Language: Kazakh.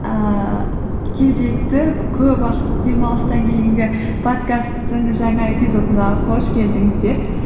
ііі кезекті көп уақыт демалыстан кейінгі подкасттың жаңа эпизодына қош келдіңіздер